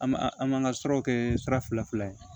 An b'a an b'an ka siraw kɛ sira fila ye